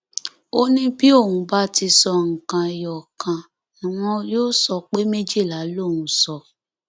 ó ní bí òun bá ti sọ nǹkan ẹyọ kan ni wọn yóò sọ pé méjìlá lòun sọ